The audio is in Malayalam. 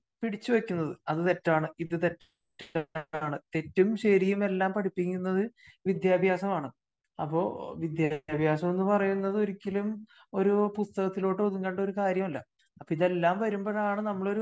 പിടിച്ചു വെക്കുന്നത്. അത് തെറ്റാണ് ഇത് തെറ്റാണ് . തെറ്റും ശെരിയും എല്ലാം പടിപ്പിക്കുന്നത് വിദ്യാഭ്യാസമാണ്. അപ്പോ വിദ്യഭ്യാസം എന്ന് പറയുന്നത് ഒരിക്കലും ഒരു പുസ്തകത്തിലോട്ട് ഒതുങ്ങണ്ട കാര്യമല്ല. അപ്പോ ഇതെല്ലാം വരുമ്പോഴാണ് നമ്മള്